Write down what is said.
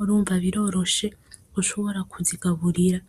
urumva biroroshe gushobora kuzigaburira.